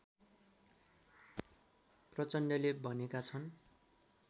प्रचण्डले भनेका छन्